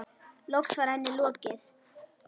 Loks var henni lokið.